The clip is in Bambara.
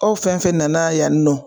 Aw fɛn fɛn nana yan nɔ